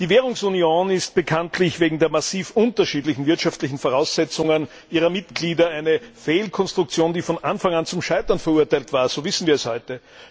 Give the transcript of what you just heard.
Die Währungsunion ist bekanntlich wegen der massiv unterschiedlichen wirtschaftlichen Voraussetzungen ihrer Mitglieder eine Fehlkonstruktion, die von Anfang an zum Scheitern verurteilt war, so wissen wir es heute.